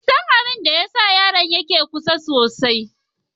Ban san abin da ya sa yaron yana kuka sosai.